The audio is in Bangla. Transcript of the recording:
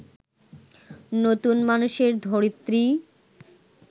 নতুন মানুষের ধরিত্রী